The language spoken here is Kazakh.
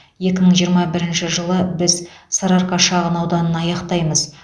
екі мың жиырма бірінші жылы біз сарыарқа шағын ауданын аяқтаймыз